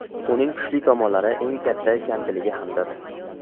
Uning kuchli tomonlari eng katta kamchiligi hamdir.